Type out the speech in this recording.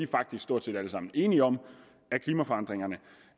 faktisk stort set alle sammen enige om at klimaforandringerne